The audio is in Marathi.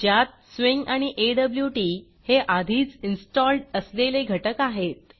ज्यात स्विंग आणि ऑट हे आधीच इन्स्टॉल्ड असलेले घटक आहेत